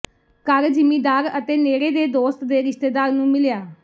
ਘਰ ਜਿਮੀਦਾਰ ਅਤੇ ਨੇੜੇ ਦੇ ਦੋਸਤ ਦੇ ਰਿਸ਼ਤੇਦਾਰ ਨੂੰ ਮਿਲਿਆ